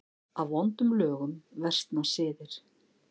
Af vondum lögum versna siðir.